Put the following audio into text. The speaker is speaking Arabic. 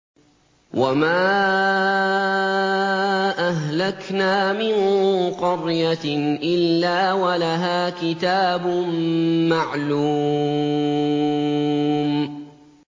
وَمَا أَهْلَكْنَا مِن قَرْيَةٍ إِلَّا وَلَهَا كِتَابٌ مَّعْلُومٌ